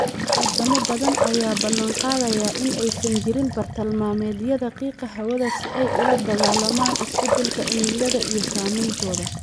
Wadamo badan ayaa ballan qaadaya in aysan jirin bartilmaameedyada qiiqa hawada si ay ula dagaallamaan isbeddelka cimilada iyo saameyntooda.